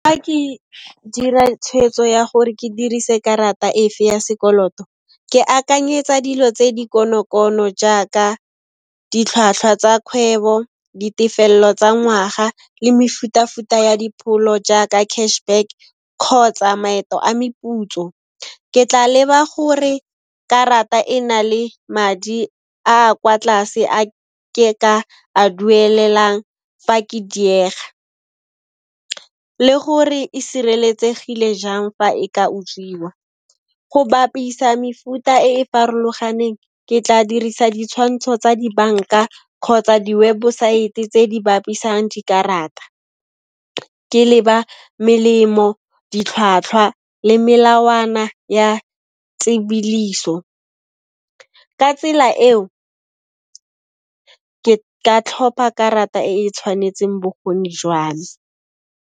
Fa ke dira tshweetso ya gore ke dirise karata efe ya sekoloto, ke akanyetsa dilo tse di kono-kono jaaka ditlhwatlhwa tsa kgwebo, ditefello tsa ngwaga le mefuta-futa ya dipholo jaaka cash back kgotsa maeto a meputso. Ke tla leba gore karata e na le madi a kwa tlase, a ke ka a duelelang fa ke diega le gore e sireletsegile jang fa e ka utswiwa. Go bapisa mefuta e e farologaneng, ke tla dirisa ditshwantsho tsa dibanka kgotsa di webosaete tse di bapisang dikarata, ke leba melemo, ditlhwatlhwa le melawana ya tsebodiso. Ka tsela eo, ke ka tlhopha karata e e tshwanetseng bokgoni jwa me.